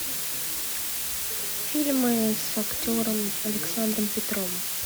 фильмы с актером александром петровым